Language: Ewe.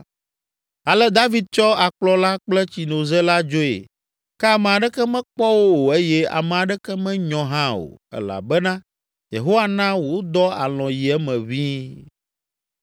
Ale David tsɔ akplɔ la kple tsinoze la dzoe ke ame aɖeke mekpɔ wo o eye ame aɖeke menyɔ hã o elabena Yehowa na wodɔ alɔ̃ yi eme ʋĩi.